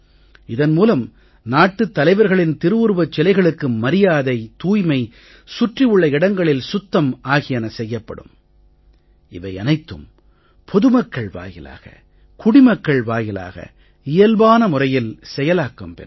இதன் மூலம் நாட்டுத் தலைவர்களின் திருவுருவச் சிலைகளுக்கு மரியாதை தூய்மை சுற்றி உள்ள இடங்களில் சுத்தம் ஆகியன செய்யப்படும் இவை அனைத்தும் பொது மக்கள் வாயிலாக குடிமக்கள் வாயிலாக இயல்பான முறையில் செயலாக்கம் பெறும்